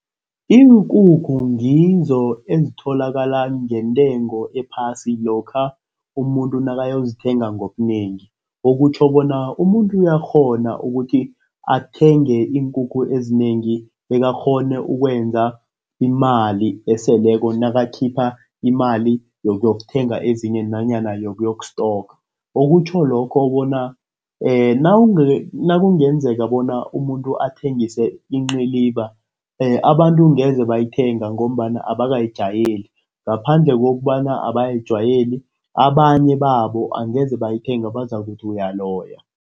Iinkukhu ngizo ezitholakala ngentengo ephasi lokha umuntu nakayozithenga ngobunengi. Okutjho bona umuntu uyakghona ukuthi athenge iinkukhu ezinengi bekakghone ukwenza imali eseleko nakakhipha imali yokuyokuthenga ezinye nanyana yokuyoku-stocker, okutjho lokho bona nakungenzeka bona umuntu athengise inciliba, abantu angeze bayithenga ngombana abakayijayeli ngaphandle kokobana abakayijwayeli abanye babo angeze bayithenga bazokuthi uyaloya.